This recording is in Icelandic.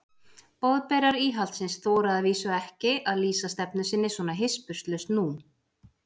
Boðberar íhaldsins þora að vísu ekki að lýsa stefnu sinni svona hispurslaust nú.